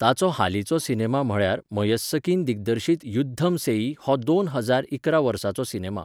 ताचो हालींचो सिनेमा म्हळ्यार मयस्सकीन दिग्दर्शीत युद्धम सेई हो दोन हजार इकरा वर्साचो सिनेमा.